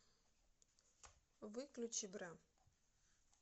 выключи бра